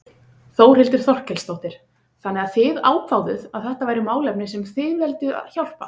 Þórhildur Þorkelsdóttir: Þannig að þið ákváðuð að þetta væri málefni sem að þið vilduð hjálpa?